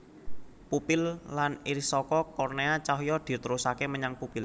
Pupil lan IrisSaka kornéa cahya diterusaké menyang pupil